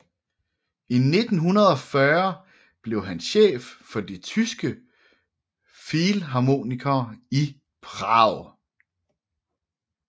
I 1940 blev han chef for de tyske filharmonikere i Prag